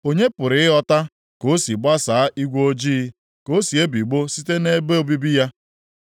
Onye pụrụ ịghọta ka o si gbasaa igwe ojii, ka o si ebigbọ site nʼebe obibi ya?